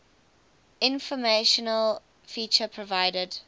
informational feature provided